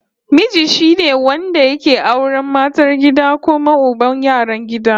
Miji shine wanda yake auran matar gida kuma uban yaran gida